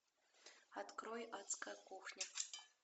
открой адская кухня